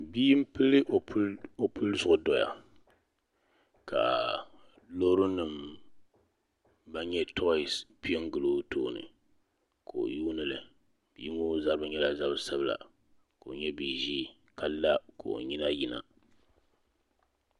Bia n pili o puli zuɣu dɔya ka loori nima ban nyɛ tɔyis piɛ n gili o tooni ka o yuuni li bia ŋɔ zabiri nyɛla zabi sabila ka o nyɛ bia ʒee ka la ka o nyina yina.